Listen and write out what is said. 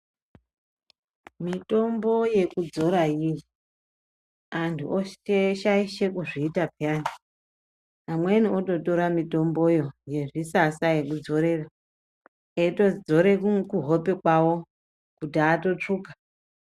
Mitombo yekudzora yii anhu oshaishe kuzviita peyani amweni ototora mitomboyo yezvisasa yekudzorera eitodzore kuhope kwawo kuti atotsvuka.